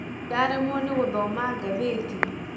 Ndaremwo nĩ gũthoma ngathĩti